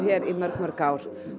í mörg mörg ár